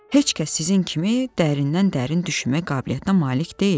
heç kəs sizin kimi dərindən-dərin düşmə qabiliyyətinə malik deyil.